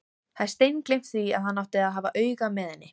Hafði steingleymt því að hann átti að hafa auga með henni!